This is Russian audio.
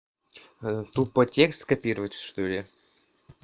тупо текст копировать что ли